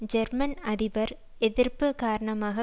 German அதிபர் எதிர்ப்பு காரணமாக